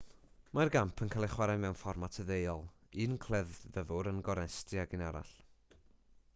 mae'r gamp yn cael ei chwarae mewn fformat deuol un cleddyfwr yn gornestu ag un arall